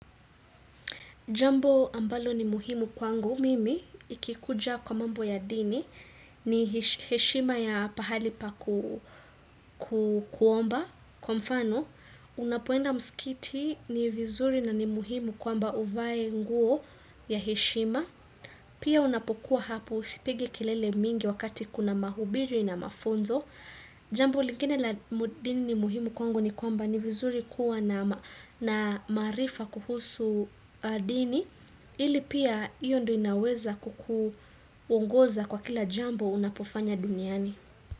Jambo ambalo ni muhimu kwangu mimi, ikikuja kwa mambo ya dini, ni heshima ya pahali pa ku kuomba, kwa mfano, unapoenda mskitini ni vizuri na ni muhimu kwamba uvae nguo ya heshima. Pia unapokuwa hapo usipige kelele mingi wakati kuna mahubiri na mafunzo Jambo lingine la dini ni muhimu kwangu ni kwamba ni vizuri kuwa na maarifa kuhusu dini. Ili pia hiyo ndo inaweza kuku ongoza kwa kila jambo unapofanya duniani.